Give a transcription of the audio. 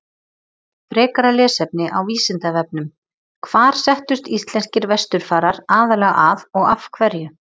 Frekara lesefni á Vísindavefnum: Hvar settust íslenskir vesturfarar aðallega að og af hverju?